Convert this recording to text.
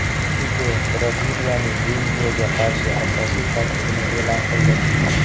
Tite Braziliyaning Belgiyaga qarshi asosiy tarkibini e’lon qildi.